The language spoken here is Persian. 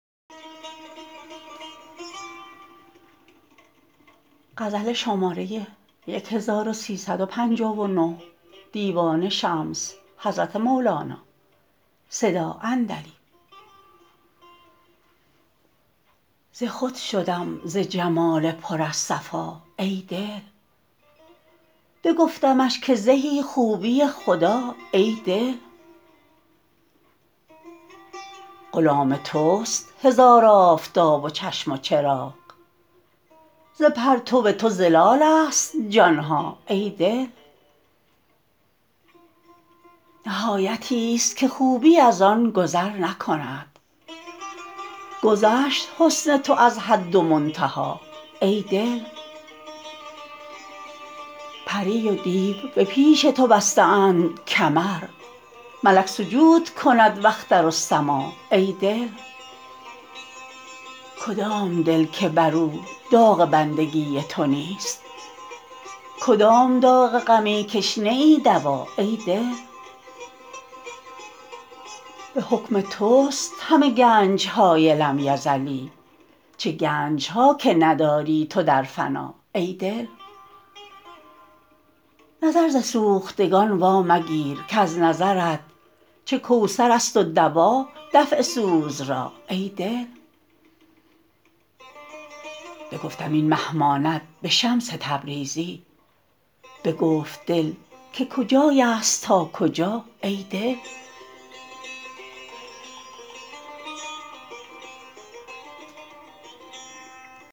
ز خود شدم ز جمال پر از صفا ای دل بگفتمش که زهی خوبی خدا ای دل غلام تست هزار آفتاب و چشم و چراغ ز پرتو تو ظلالست جان ها ای دل نهایتیست که خوبی از آن گذر نکند گذشت حسن تو از حد و منتها ای دل پری و دیو به پیش تو بسته اند کمر ملک سجود کند و اختر و سما ای دل کدام دل که بر او داغ بندگی تو نیست کدام داغ غمی کش نه ای دوا ای دل به حکم تست همه گنج های لم یزلی چه گنج ها که نداری تو در فنا ای دل نظر ز سوختگان وامگیر کز نظرت چه کوثرست و دوا دفع سوز را ای دل بگفتم این مه ماند به شمس تبریزی بگفت دل که کجایست تا کجا ای دل